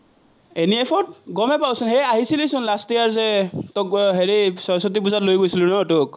NEF ত, গমেই পাৱচোন, সেই আহিছিলিচোন last year যে আহ হেৰি স্বৰস্বতী পুজাত লৈ গৈছিলো তোক।